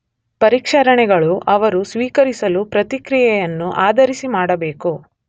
ಪರಿಷ್ಕರಣೆಗಳು ಅವರು ಸ್ವೀಕರಿಸಲು ಪ್ರತಿಕ್ರಿಯೆಯನ್ನು ಆಧರಿಸಿ ಮಾಡಬೇಕು.